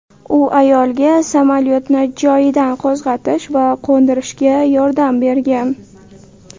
U ayolga samolyotni joyidan qo‘zg‘atish va qo‘ndirishga yordam bergan.